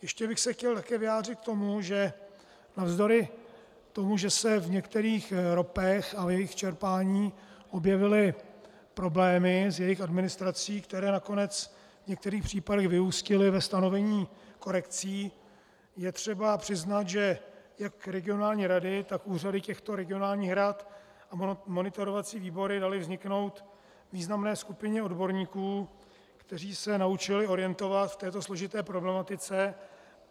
Ještě bych se chtěl také vyjádřit k tomu, že navzdory tomu, že se v některých ropech a v jejich čerpání objevily problémy s jejich administrací, které nakonec v některých případech vyústily ve stanovení korekcí, je třeba přiznat, že jak regionální rady, tak úřady těchto regionálních rad a monitorovací výbory daly vzniknout významné skupině odborníků, kteří se naučili orientovat v této složité problematice.